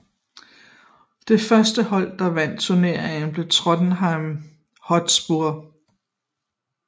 Det første hold der vandt turneringen blev Tottenham Hotspur